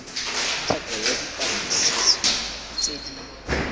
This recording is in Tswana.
tsheko ya dipatlisiso tse di